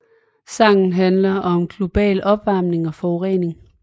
Sangen handler om global opvarmning og forurening